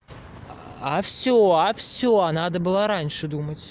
а всё а всё а надо было раньше думать